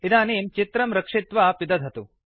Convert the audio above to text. इदनीं चित्रं रक्षित्वा पिदधतु